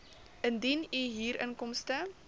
indien u huurinkomste